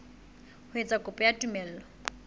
ho etsa kopo ya tumello